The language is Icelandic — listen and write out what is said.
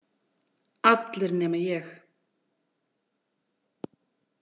Allir nema ég.